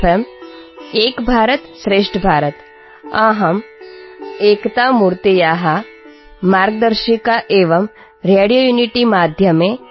Mఏక్ భారతం శ్రేష్ఠ భారతం | అహం ఏకతా మూర్తే మార్గ్ దర్శికా ఏవం రేడియో యూనిటీ మాధ్యమే ఆర్